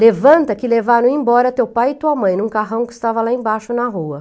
Levanta que levaram embora teu pai e tua mãe em um carrão que estava lá embaixo na rua.